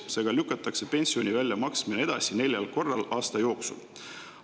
Seega lükatakse pensioni väljamaksmine edasi neljal korral aasta jooksul.